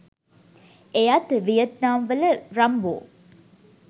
එයත් වියට්නාම් වල රම්බෝ